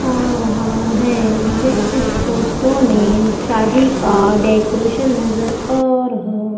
आ रहा है मुझे इस फोटो में शादी का डेकोरेशन नजर आ रहा--